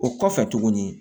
O kɔfɛ tuguni